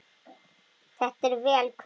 Þetta er vel kveðið.